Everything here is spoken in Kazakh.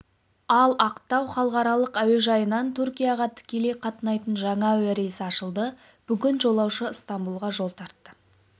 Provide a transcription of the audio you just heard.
ал ақтау халықаралық әуежайынан түркияға тікелей қатынайтын жаңа әуе рейсі ашылды бүгін жолаушы ыстамбұлға жол тартты